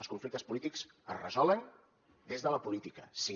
els conflictes polítics es resolen des de la política sí